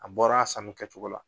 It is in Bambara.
A bɔra a sanu kɛcogo la.